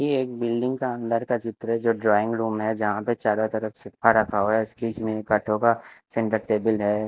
ये एक बिल्डिंग का अंदर का चित्र है जो ड्राइंग रूम है जहां पे चारों तरफ सोफा रखा हुआ है स्केच में सेंटर टेबल है।